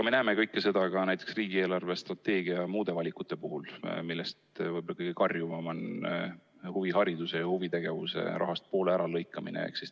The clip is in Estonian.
Me näeme kõike seda ka riigi eelarvestrateegia ja muude valikute puhul, millest võib-olla kõige karjuvam on huvihariduse rahast poole äralõikamine.